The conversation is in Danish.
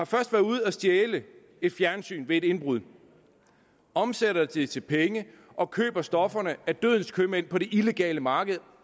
først været ude at stjæle et fjernsyn ved et indbrud omsat det til penge og købt stofferne af dødens købmænd på det illegale marked